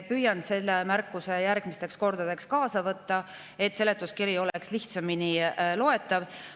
Püüan selle märkuse järgmisteks kordadeks kaasa võtta, et seletuskiri oleks lihtsamini loetav.